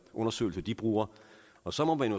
undersøgelser de bruger og så må man